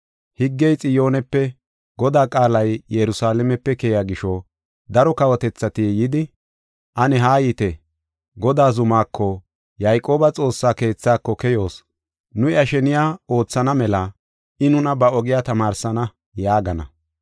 Higgey Xiyoonepe, Godaa qaalay Yerusalaamepe keyiya gisho, daro kawotethati yidi, “Ane Haayite; Godaa zumako, Yayqooba Xoossaa keethaako keyoos. Nu iya sheniya oothana mela I nuna ba ogiya tamaarsana” yaagana.